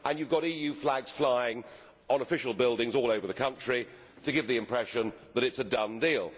And you have got EU flags flying on official buildings all over the country, to give the impression that it is a done deal.